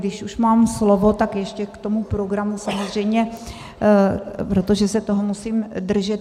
Když už mám slovo, tak ještě k tomu programu, samozřejmě, protože se toho musím držet.